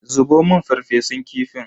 Zubo mun farfesun kifin.